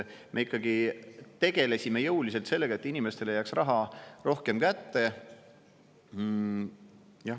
Me ikkagi tegelesime jõuliselt sellega, et inimestele jääks raha rohkem kätte.